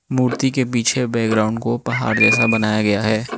मूर्ति के पीछे बैकग्राउंड को पहाड़ जैसा बनाया गया है।